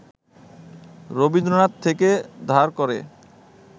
রবীন্দ্রনাথ থেকে ধার করে